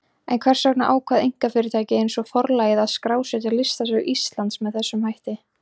En hvers vegna ákvað einkafyrirtæki eins og Forlagið að skrásetja listasögu Íslands með þessum hætti?